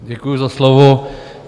Děkuji za slovo.